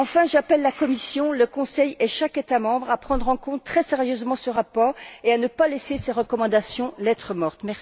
Enfin, j'appelle la Commission, le Conseil et chaque État membre à prendre en compte, très sérieusement, ce rapport et à ne pas laisser ses recommandations lettre morte.